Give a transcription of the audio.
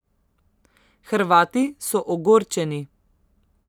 Hrvati so ogorčeni.